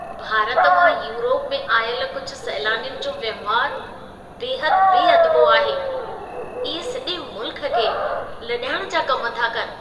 भारत मां यूरोप में आयल कुझु सैलानियुनि जो वहिंवारु बेहदि बेअदबो आहे। इहे सॼे मुल्क खे लॼाइण जा कम था कनि।